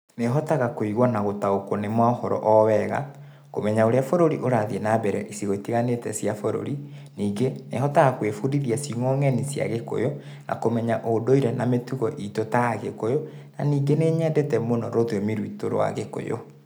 Nĩhotaga kũigua na gũtaũkwa nĩ mohoro o wega kũmenya ũrĩa bũrũri ũrathiĩ na mbere icigo itiganite cia bũrũri, ningĩ nĩhotaga kwĩbundithia ciugo ng'eni cia Gĩkũyũ na kũmenya ũndũire na mĩtugo itũ ta Agĩkũyũ na ningĩ nĩ nyendete mũno rũthiomi rwitũ rwa Gĩkũyũ